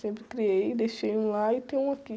Sempre criei, deixei um lá e tenho um aqui.